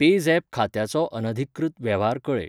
PayZapp खात्याचो अनधिकृत वेव्हार कळय.